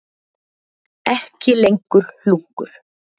Ekki lengur hlunkur.